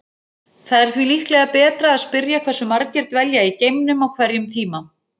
Það er því líklega betra að spyrja hversu margir dvelja í geimnum á hverjum tíma.